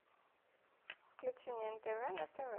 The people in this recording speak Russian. включи мне нтв на тв